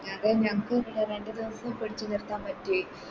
ഞങ്ങളും ഞങ്ങക്കും പിന്നെ രണ്ട് ദിവസം പിടിച്ച് നിക്കാൻ പറ്റി